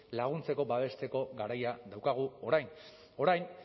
laguntzeko babesteko garaia daukagu orain orain